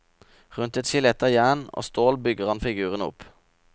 Rundt et skjelett av jern og stål bygger han figurene opp.